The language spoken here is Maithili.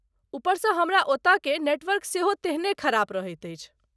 उपरसँ हमरा ओतयकेँ नेटवर्क सेहो तेहने खराब रहैत अछि।